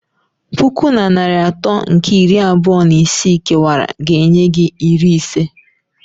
Puku na narị atọ nke iri abụọ na isii kewara ga-enye gị iri ise.